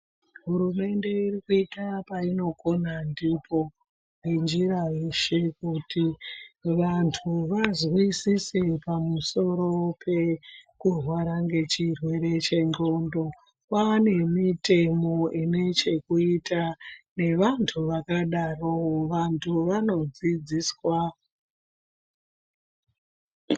Hurumende iri kuita painogona ndipo ngenjira yeshe kuti vantu vanzwisise kuti pamusoro pekurwara ngechirwere chendxondo. Kwane mitemo ine chekuita nevantu vakadaro. Vantu vanodzidziswa..